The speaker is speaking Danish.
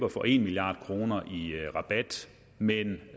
at få en milliard kroner i rabat men